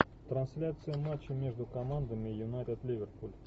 трансляция матча между командами юнайтед ливерпуль